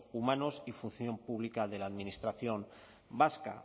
humanos y función pública de la administración vasca